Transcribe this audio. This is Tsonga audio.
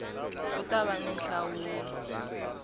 ku ta va ni nhlawulo